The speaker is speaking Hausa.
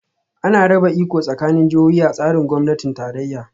Ana raba iko tsakanin jihohi a tsarin gwamnatin tarayya